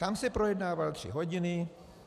Tam se projednával tři hodiny.